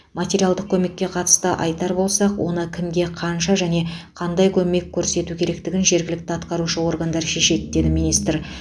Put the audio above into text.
материалдық көмекке қатысты айтар болсақ оны кімге қанша және қандай көмек көрсету керектігін жергілікті атқарушы органдар шешеді деді министр